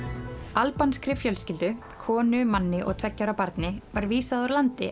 albanskri fjölskyldu konu manni og tveggja ára barni var vísað úr landi